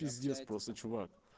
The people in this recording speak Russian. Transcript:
биздец просто чувак